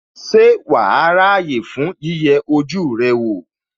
Ṣé wàá ráyè fún yíyẹ ojú rẹ wò?